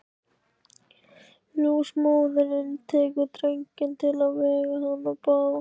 Ljósmóðirin tekur drenginn til að vega hann og baða.